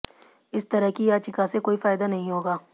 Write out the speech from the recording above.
इस तरह की याचिका से कोई फ़ायदा नहीं होगा